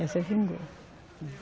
Essa vingou.